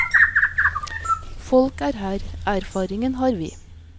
Folk er her, erfaringen har vi.